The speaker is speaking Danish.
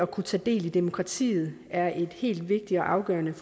kunne tage del i demokratiet er et helt vigtigt og afgørende